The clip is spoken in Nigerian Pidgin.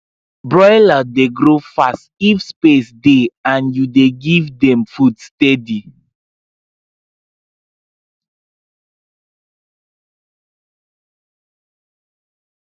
broiler dey grow fast if space dey and you dey give dem food steady